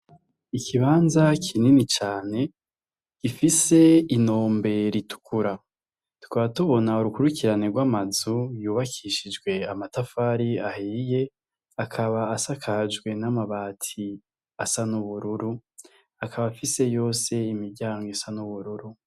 Ikibanza kinini cane gifise inombe ritukura, tukaba tubona urukurikirane gw'amazu yubakishijwe amatafari ahiye ,akaba asakajwe n'amabati asa n'ubururu akaba afise yose imiryango isa n'ubururu.